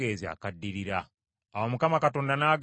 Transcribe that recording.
Awo Mukama Katonda n’agamba Musa nti,